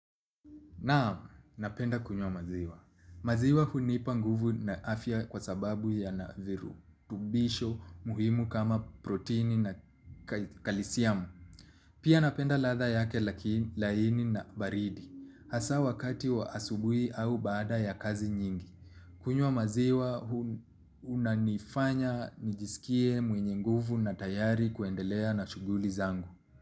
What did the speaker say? Naam, napenda kunywa maziwa. Maziwa hunipa nguvu na afya kwa sababu yana viru. Virutubisho muhimu kama proteini na kalisiamu. Pia napenda ladha yake laini na baridi. Hasa wakati wa asubuhi au baada ya kazi nyingi. Kunywa maziwa unanifanya nijisikie mwenye nguvu na tayari kuendelea na shughuli zangu.